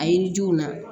A yiridenw na